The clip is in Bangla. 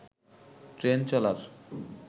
ট্রেন চলার